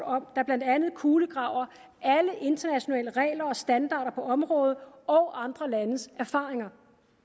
der blandt andet kulegraver alle internationale regler og standarder på området og andre landes erfaringer